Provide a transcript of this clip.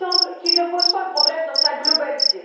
Il me semble qu'il ne pose pas le problème dans sa globalité.